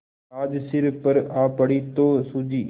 आज सिर पर आ पड़ी तो सूझी